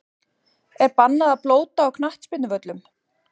Er bannað að blóta á knattspyrnuvöllum?!